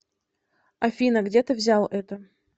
афина где ты взял это